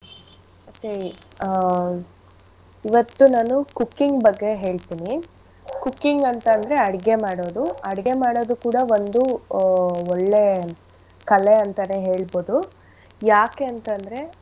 ಹೇ ಆ ಇವತ್ತು ನಾನು cooking ಬಗ್ಗೆ ಹೇಳ್ತೀನಿ. Cooking ಅಂತ್ ಅಂದ್ರೆ ಅಡುಗೆ ಮಾಡೋದು. ಅಡುಗೆ ಮಾಡೋದು ಕೂಡ ಒಂದು ಆ ಒಳ್ಳೆ ಕಲೆ ಅಂತಾನೆ ಹೇಳ್ಬೋದು ಯಾಕೆ ಅಂತ್ ಅಂದ್ರೆ.